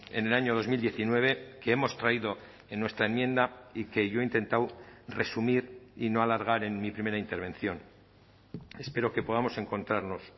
en el año dos mil diecinueve que hemos traído en nuestra enmienda y que yo he intentado resumir y no alargar en mi primera intervención espero que podamos encontrarnos